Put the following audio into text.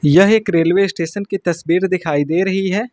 यह एक railway station की तस्वीर दिखाई दे रही है।